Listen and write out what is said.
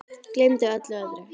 Gleymdi öllu öðru.